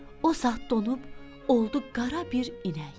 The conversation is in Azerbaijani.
O saat donub oldu qara bir inək.